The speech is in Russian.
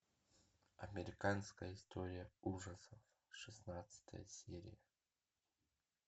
американская история ужасов шестнадцатая серия